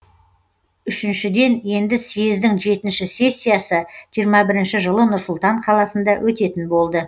үшіншіден енді съездің жетінші сессиясы жиырма бірінші жылы нұр сұлтан қаласында өтетін болды